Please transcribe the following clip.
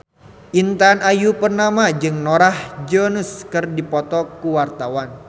Intan Ayu Purnama jeung Norah Jones keur dipoto ku wartawan